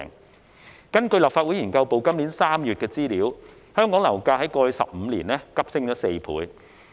根據立法會秘書處資料研究組今年3月擬備的資料，香港樓價於過去15年內急升4倍。